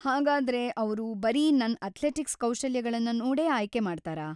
ಹಾಗಾದ್ರೆ ಅವ್ರು ಬರೀ ನನ್ ಅಥ್ಲೆಟಿಕ್ಸ್‌ ಕೌಶಲ್ಯಗಳ್ನ ನೋಡೇ ಆಯ್ಕೆ ಮಾಡ್ತಾರಾ?